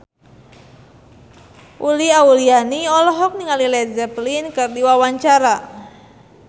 Uli Auliani olohok ningali Led Zeppelin keur diwawancara